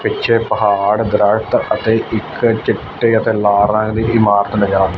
ਪਿੱਛੇ ਪਹਾੜ ਦਰਖਤ ਅਤੇ ਇੱਕ ਚਿੱਟੇ ਅਤੇ ਲਾਲ ਰੰਗ ਦੀ ਇਮਾਰਤ ਨਜ਼ਰ--